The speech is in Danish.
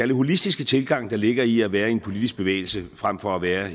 det holistiske tilgang der ligger i at være en politisk bevægelse frem for at være